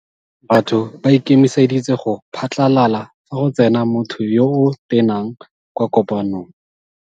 Batho ba ikemeseditse go phatlalala fa go tsena motho yo o tenang kwa kopanong.